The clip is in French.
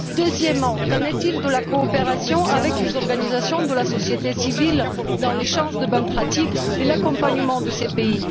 Deuxièmement, quid de la coopération avec les organisations de la société civile dans l'échange de bonnes pratiques et l'accompagnement de ces pays?